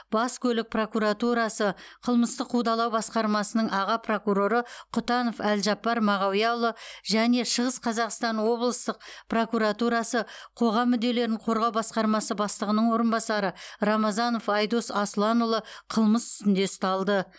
бас көлік прокуратурасы қылмыстық қудалау басқармасының аға прокуроры құтанов әлжаппар мағауияұлы және шығыс қазақстан облыстық прокуратурасы қоғам мүдделерін қорғау басқармасы бастығының орынбасары рамазанов айдос асланұлы қылмыс үстінде ұсталды